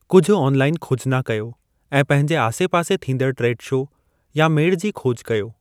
कुझु ऑनलाइन खोजना कयो ऐं पंहिंजे आसे-पासे थींदड़ु ट्रेड शो या मेड़ जी खोज कयो।